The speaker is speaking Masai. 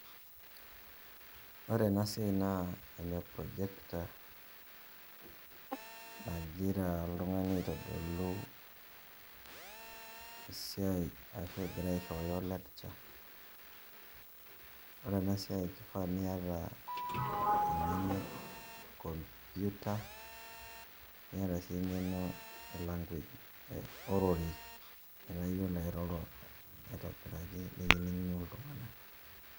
Ore enasiai naa ene projector, nagira oltung'ani aitodolu esiai ashu egira aishooyo lecture. Ore enasiai kifaa niata eng'eno e computer, niata si eng'eno e language ororei. Metaa yiolo airoro aitobiraki nikining'u iltung'anak.